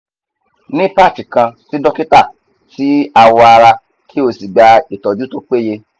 ni patch kan si dokita ti awo ara ki o si gba itoju to peye